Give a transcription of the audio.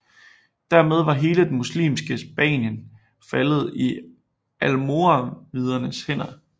Dermed var hele det muslimske Spanien faldet i almoravidernes hænder